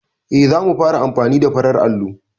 E, za mu fara amfani da farar allo.